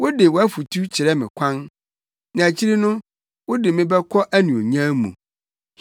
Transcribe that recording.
Wode wʼafotu kyerɛ me kwan; na akyiri no, wode me bɛkɔ anuonyam mu.